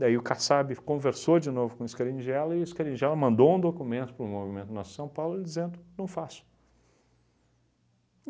Daí o Kassab conversou de novo com o Scaringella e o Scaringella mandou um documento para o Movimento Nossa São Paulo dizendo não faço.